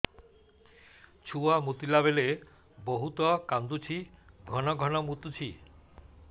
ଛୁଆ ମୁତିଲା ବେଳେ ବହୁତ କାନ୍ଦୁଛି ଘନ ଘନ ମୁତୁଛି